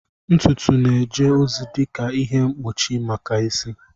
Ntutu na-eje ozi dị ka ihe mkpuchi maka isi.